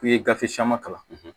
K'u ye gafe caman kalan